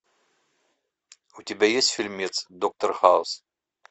у тебя есть фильмец доктор хаус